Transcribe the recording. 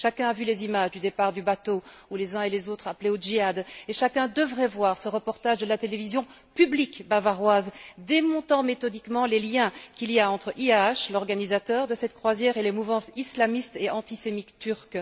Chacun a vu les images du départ du bateau où les uns et les autres appelaient au Jihad et chacun devrait voir ce reportage de la télévision publique bavaroise, démontant méthodiquement les liens qui existent entre IHH, l'organisateur de cette croisière, et les mouvances islamistes et antisémites turques.